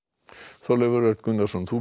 Þorleifur Örn Gunnarsson þú